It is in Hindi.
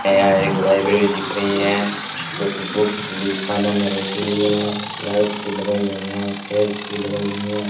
यहां एक लाइब्रेरी दिख रही है जो की बुक्स भी खानो मे रखी हुई है लाइट्स भी लगाई हुई है चेयर्स भी लगाई हुई है।